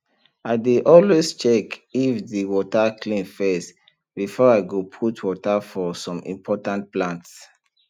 i dey always dey check if de water clean first before i go put water for som important plants